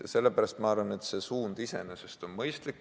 Ja sellepärast ma arvan, et võetud suund iseenesest on mõistlik.